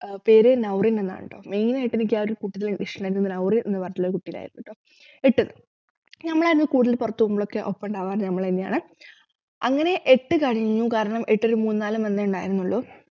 ഏർ പേരു നൗറീൻ എന്നാണുട്ടോ main ആയിട്ട് എനിക്ക് ആ ഒരു കുട്ടിനെ ഇഷ്ടായിരുന്നു നൗറീൻ എന്ന് പറഞ്ഞിട്ടുള്ള കുട്ടീനെ ആയിരുന്നുട്ടോ എട്ടിന്നു ഞമ്മളാണ് കൂടുതൽ പുറത്തു പോകുമ്പോളൊക്കെ ഒപ്പം ഉണ്ടാവാറു ഞമ്മളെന്നെയാണ് അങ്ങനെ എട്ടു കഴിഞ്ഞു കാരണം എട്ടില് മൂന്നാലു month ഏ ഉണ്ടായിരുന്നുള്ളു